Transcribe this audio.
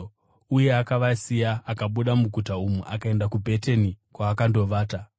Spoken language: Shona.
Uye akavasiya akabuda muguta umu akaenda kuBhetani kwaakandovata.